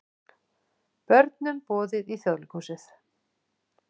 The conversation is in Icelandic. Börnum boðið í Þjóðleikhúsið